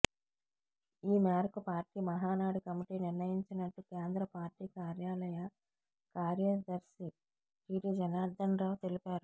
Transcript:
ఈ మేరకు party Mahanadu committee నిర్ణయించినట్టు కేంద్ర పార్టీ కార్యాలయ కార్యదర్శి టిడి జనార్ధనరావు తెలిపారు